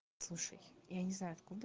слушай я не знаю откуда